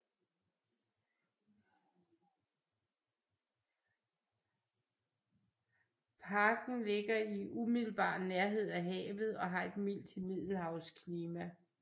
Parken ligger i umiddelbar nærhed af havet og har et mildt middelhavsklima